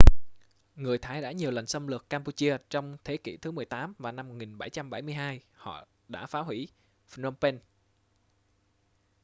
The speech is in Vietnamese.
người thái đã nhiều lần xâm lược cam-pu-chia trong thế kỉ thứ 18 và năm 1772 họ đã phá hủy phnom phen